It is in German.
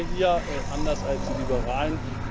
Das tun wir hier, anders als die Liberalen.